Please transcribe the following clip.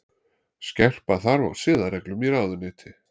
Skerpa þarf á siðareglum í ráðuneyti